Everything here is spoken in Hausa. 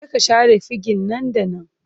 Je ka share fegin nan da nan!